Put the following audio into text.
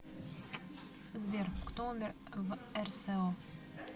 сбер кто умер в рсо